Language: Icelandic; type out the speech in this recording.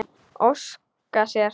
Óska sér.